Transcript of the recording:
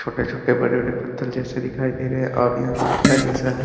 छोटे-छोटे बड़े-बड़े पत्थर जैसे दिखाई दे रहे है और यहां खड्डा जैसा है।